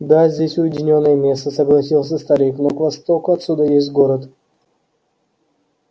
да здесь уединённое место согласился старик но к востоку отсюда есть город